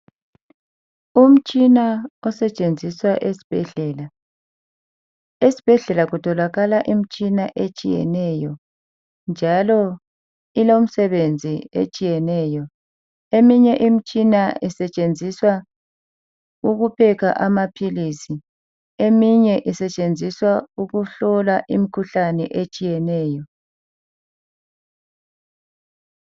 Umtshina osetshenziswa esibhedlela. Esibhedlela kutholakala imtshina etshiyeneyo njalo ilomsebenzi etshiyeneyo. Eminye imtshina isetshenziswa ukuphekha amaphilisi, eminye isetshenziswa ukuhlola imkhuhlane etshiyeneyo.